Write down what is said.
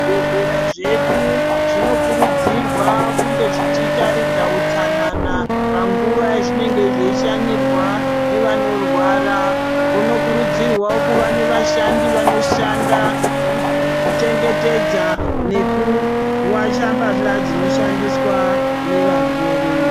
Zvibhedhlera zvedu zvinokurudzirwa kunge zvichitaridza utsanana panguwa yazvinenge zvichishanyirwa nevanorwara kunokurudzirwa kuva nevashandi vanoshanda kuchengetedza nekuwacha mbahla dzinoshandiswa nevarwere.